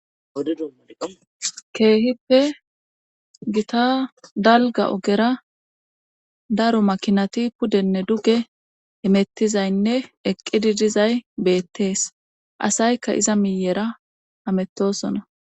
keehippe gita dalga ogera daro makinati pudenne duge emettizaynne eqqidi dizay beettees asaykka iza miyera amettosona